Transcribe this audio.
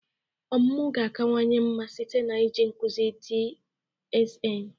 Ọmụmụ ga-akawanye mma site n'iji nkuzi adsn